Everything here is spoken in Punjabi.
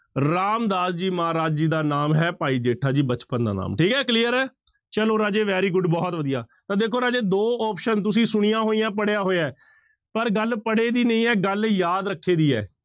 ਰਾਮਦਾਸ ਜੀ ਮਹਾਰਾਜ ਜੀ ਦਾ ਨਾਮ ਹੈ ਭਾਈ ਜੇਠਾ ਜੀ ਬਚਪਨ ਦਾ ਨਾਮ, ਠੀਕ ਹੈ clear ਹੈ ਚਲੋ ਰਾਜੇ very good ਬਹੁਤ ਵਧੀਆ, ਤਾਂ ਦੇਖੋ ਰਾਜੇ ਦੋ option ਤੁਸੀਂ ਸੁਣੀਆਂ ਹੋਈਆਂ, ਪੜ੍ਹਿਆ ਹੋਇਆ ਹੈ ਪਰ ਗੱਲ ਪੜ੍ਹੇ ਦੀ ਨਹੀਂ ਹੈ ਗੱਲ ਯਾਦ ਰੱਖੇ ਦੀ ਹੈ।